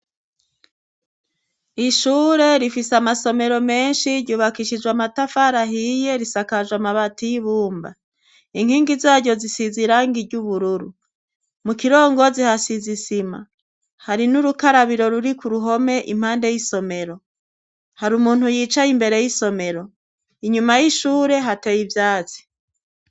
Ishure rifise amasomero menshi ryubakishijwe amatafari ahiye. Risakajwe amabati y'ibumba. inkingi zaryo zisize irangi ry'ubururu. Mu kirongozi hasize isima hari n'urukarabiro ruri ku ruhome impande y'isomero hari umuntu yicaye imbere y'isomero. Inyuma y'ishure hateye ivyatsi.